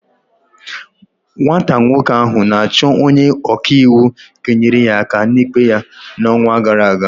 Nwata nwoke ahụ na-achọ onye ọka iwu ga-enyere ya aka n'ikpe ya n'ọnwa gara aga.